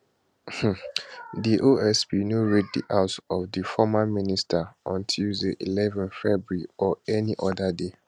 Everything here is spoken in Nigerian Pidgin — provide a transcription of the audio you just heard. di osp no raid di house of di former minister on tuesday eleven february or any oda day